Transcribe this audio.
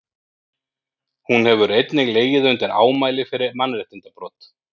hún hefur einnig legið undir ámæli fyrir mannréttindabrot